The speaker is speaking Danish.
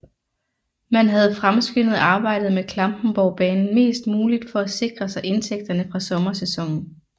Man havde fremskyndet arbejdet med Klampenborgbanen mest muligt for at sikre sig indtægterne fra sommersæsonen